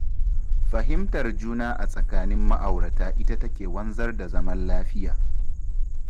Fahimtar juna a tsakanin ma'aurata ita take wanzar da zaman lafiya.